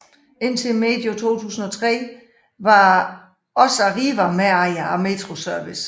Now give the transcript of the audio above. Indtil medio 2003 var også Arriva medejer af Metro Service